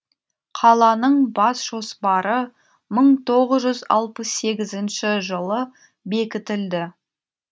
қаланың бас жоспары мың тоғыз жүз алпыс сегізінші жылы бекітілді